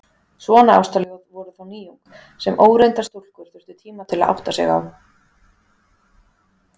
Svona ástarljóð voru þá nýjung, sem óreyndar stúlkur þurftu tíma til að átta sig á.